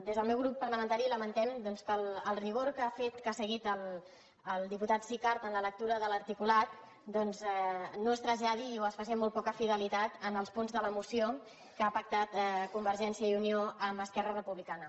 des del meu grup parlamentari lamentem que el rigor que ha seguit el diputat sicart en la lectura de l’articulat doncs no es traslladi o es faci amb molt poca fidelitat en els punts de la moció que ha pactat convergència i unió amb esquerra re·publicana